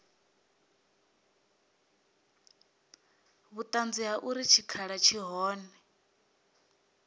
vhuṱanzi ha uri tshikhala tshi hone